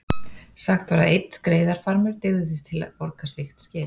Sagt var að einn skreiðarfarmur dygði til að borga slíkt skip.